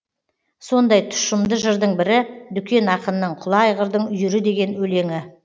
сондай тұщымды жырдың бірі дүкен ақынның құла айғырдың үйірі деген өлеңі